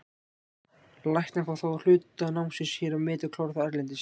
Læknar fá þá hluta námsins hér metið og klára það erlendis.